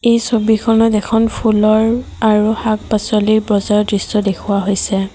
এই ছবিখনত এখন ফুলৰ আৰু শাক-পাচলিৰ বজাৰ দৃশ্য দেখুওৱা হৈছে।